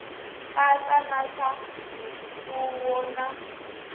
katsa na swa mimfuwo na